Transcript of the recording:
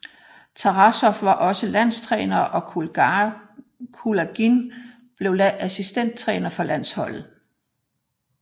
Tarasov var også landstræner og Kulagin blev assistenttræner for landsholdet